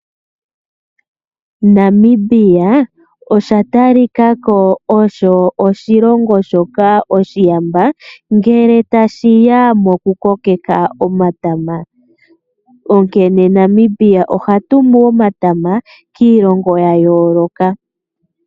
Namibia osha talikako osho oshilongo shoka oshiyamba ngele tashiya moku kokeka omatama. Onkene Namibia oha tumu omatama kiilongo ya yooloka.